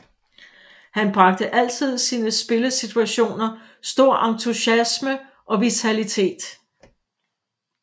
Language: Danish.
Han bragte altid sine spillesituationer stor entusiasme og vitalitet